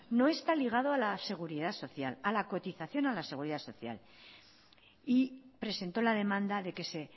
no está ligado a la cotización de la seguridad social presentó la demanda de que